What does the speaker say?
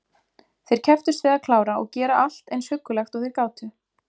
Þeir kepptust við að klára og gera allt eins huggulegt og þeir gátu.